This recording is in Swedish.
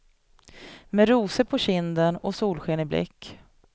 Med rosor på kinden och solsken i blick.